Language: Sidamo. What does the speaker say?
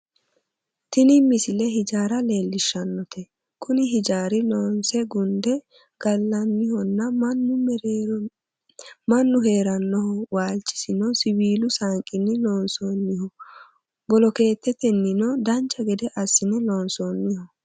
tini misile hijaara leellishshannote kuni hijaarino loonse gunde gallannihonna mannu heerannoho waalchosi siwiilu saanqinni loonsoonnijho bolookeettetennino dancha gede assine loonsoonniho